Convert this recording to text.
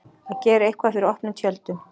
Að gera eitthvað fyrir opnum tjöldum